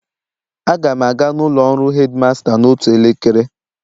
Aga m aga n'ụlọ ọrụ headmaster n'otu elekere